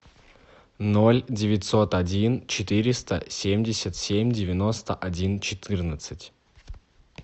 ноль девятьсот один четыреста семьдесят семь девяносто один четырнадцать